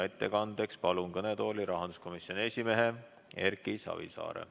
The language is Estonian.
Ettekandeks palun kõnetooli rahanduskomisjoni esimehe Erki Savisaare.